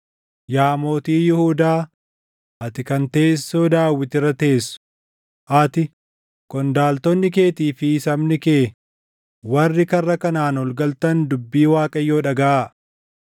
‘Yaa Mootii Yihuudaa, ati kan teessoo Daawit irra teessu, ati, qondaaltonni keetii fi sabni kee warri karra kanaan ol galtan dubbii Waaqayyoo dhagaʼaa.